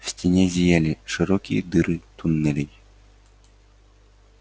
в стене зияли широкие дыры туннелей